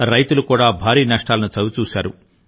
రైతులు కూడా భారీ నష్టాలను చవిచూశారు